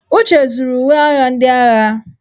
Uche zuru uwe agha ndị agha.